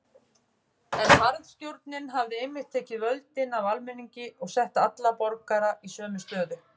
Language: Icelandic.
En harðstjórnin hafði einmitt tekið völdin af almenningi og sett alla borgara í sömu stöðu.